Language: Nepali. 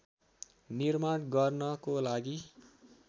निर्माण गर्नको लागि